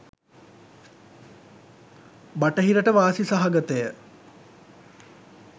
බටහිරට වාසි සහගතය.